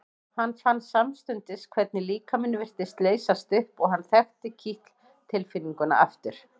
Hann fann samstundis hvernig líkaminn virtist leysast upp og hann þekkti kitl tilfinninguna aftur.